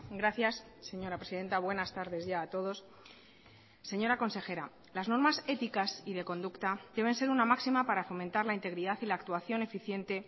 gracias señora presidenta buenas tardes ya a todos señora consejera las normas éticas y de conducta deben ser una máxima para fomentar la integridad y la actuación eficiente